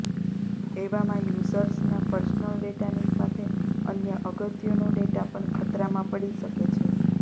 એવામાં યુઝર્સના પર્સનલ ડેટાની સાથે અન્ય અગત્યનો ડેટા પણ ખતરામાં પડી શકે છે